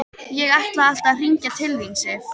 Ég ætlaði alltaf að hringja til þín, Sif.